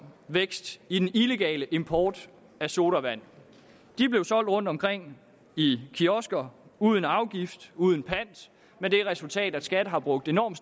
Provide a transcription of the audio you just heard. vækst i den illegale import af sodavand de blev solgt rundtomkring i kiosker uden afgift og uden pant med det resultat at skat har brugt enorme